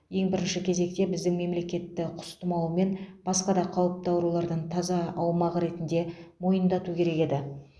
ең бірінші кезекте біздің мемлекетті құс тұмауы мен басқа да қауіпті аурулардан таза аумақ ретінде мойындату керек еді